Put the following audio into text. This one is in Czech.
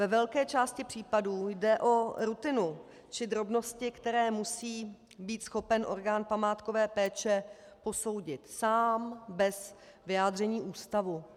Ve velké části případů jde o rutinu či drobnosti, které musí být schopen orgán památkové péče posoudit sám bez vyjádření ústavu.